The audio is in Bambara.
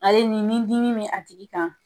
Ale ni ni dimi bɛ a tigi kan